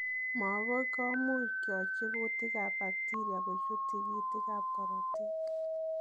Moogok komuuch kyochi kuutik ab bekteria kochuut tigitik ab korotiik.